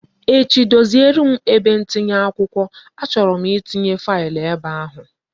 Echi doziere m ebe ntinye akwụkwọ, a chọrọ m itinye faịlụ ebe ahụ